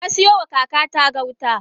Nasiyoma kakata gauta.